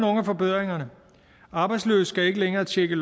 af forbedringerne arbejdsløse skal ikke længere tjekke